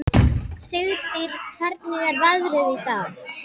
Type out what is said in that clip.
Sigtýr, hvernig er veðrið í dag?